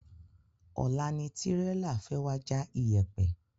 Ọ̀la ni Tírélà fẹ́ wa já iyèpè